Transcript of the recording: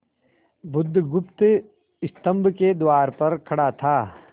बुधगुप्त स्तंभ के द्वार पर खड़ा था